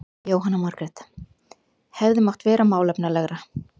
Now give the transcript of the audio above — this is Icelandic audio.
Jóhanna Margrét: Hefði mátt vera málefnalegra?